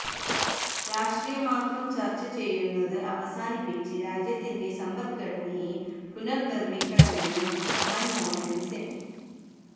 രാഷ്ട്രീയം മാത്രം ചര്ച്ച ചെയ്യുന്നത് അവസാനിപ്പിച്ച് രാജ്യത്തിന്റെ സമ്പദ്ഘടനയെ പുനര്നിര്മ്മിക്കണമെന്ന് മന്മോഹന് സിങ്